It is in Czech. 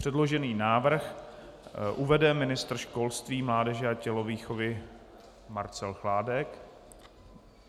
Předložený návrh uvede ministr školství, mládeže a tělovýchovy Marcel Chládek.